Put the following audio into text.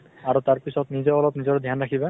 আৰু তাৰ পিছত নিজেও অলপ নিজৰ ধ্য়ান ৰাখিবা ।